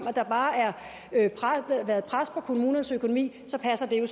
at der bare har været pres på kommunernes økonomi så passer det jo